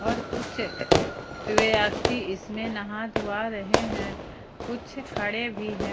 और कुछ व्यक्ति इसमें नहा धोवा रहे हैं कुछ खड़े भी हैं।